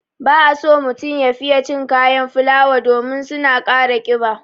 Ba a so mutum ya fiye cin kayan fulawa domin su na ƙara ƙiba.